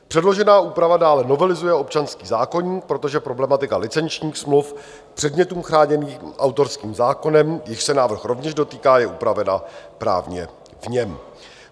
Předložená úprava dále novelizuje občanský zákoník, protože problematika licenčních smluv předmětů chráněných autorským zákonem, jichž se návrh rovněž dotýká, je upravena právně v něm.